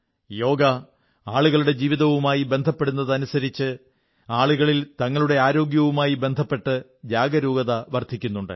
യോഗ ആളുകളുടെ ജീവിതവുമായി ബന്ധപ്പെടുന്നതനുസരിച്ച് ആളുകളിൽ തങ്ങളുടെ ആരോഗ്യവുമായി ബന്ധപ്പെട്ട് ജാഗരൂകത വർധിക്കുന്നുണ്ട്